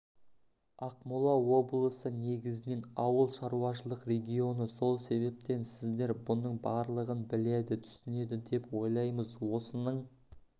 ақмола облысы негізінен ауыл шаруашылық регионы сол себептен сіздер бұның барлығын біледі түсінеді деп ойлаймыз осының